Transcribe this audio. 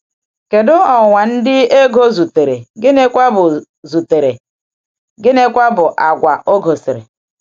Kedu ọnwụnwa ndị Égó zutere, gịnịkwa bụ zutere, gịnịkwa bụ àgwà ọ gosiri?